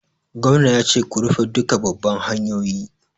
Gwamna ya ce 'Ku rufe duka babban hanyoyi'!